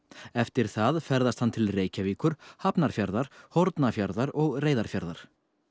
eftir það ferðast hann til Reykjavíkur Hafnarfjarðar Hornafjarðar og Reyðarfjarðar